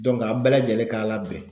a bɛɛ lajɛlen k'a labɛn